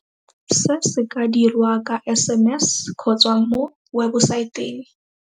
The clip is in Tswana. Se se ka dirwa ka SMS kgotsa mo webosaeteng.